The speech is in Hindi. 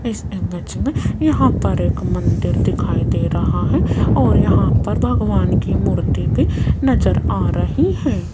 इस इमेज में यहां पर एक मंदिर दिखाई दे रहा है और यहां पर भगवान की मूर्ति भी नजर आ रही है।